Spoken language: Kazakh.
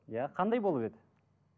иә қандай болып еді